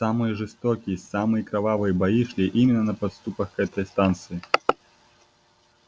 самые жестокие самые кровавые бои шли именно на подступах к этой станции